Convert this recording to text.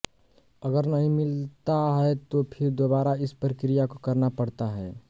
अगर नहीं मिलता है तो फिर दोबारा इस प्रक्रिया को करना पड़ता है